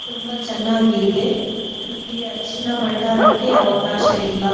ತುಂಬಾ ಚೆನ್ನಾಗಿದೆ ಇಲ್ಲಿ ಅರಿಶಿಣ ಭಂಡಾರಕ್ಕೆ ಅವಕಾಶ ಇಲ್ಲ.